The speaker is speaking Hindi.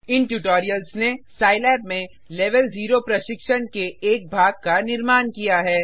इन ट्यूटोरियल्स ने सिलाब में लेवेल 0 प्रशिक्षण के एक भाग का निर्माण किया है